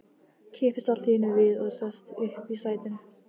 Kippist allt í einu við og sest upp í sætinu.